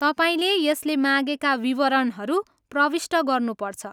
तपाईँले यसले मागेका विवरणहरू प्रविष्ट गर्नुपर्छ।